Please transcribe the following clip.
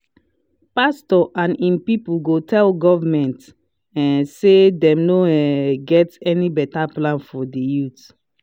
pastor and im people go tell government um say them no um get any better plans for dey youth.